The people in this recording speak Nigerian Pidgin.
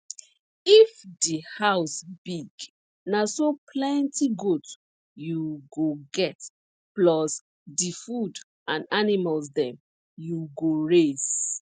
if di house big na so plenty goat you go get plus di food and animals dem you go raise